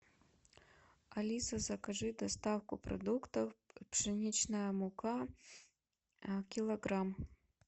алиса закажи доставку продуктов пшеничная мука килограмм